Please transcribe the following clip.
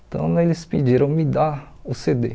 Então, eles pediram me dá o cê dê.